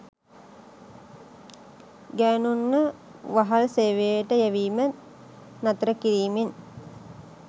ගෑණුන්ව වහල් සේවයට යැවීම නතර කිරීමෙන්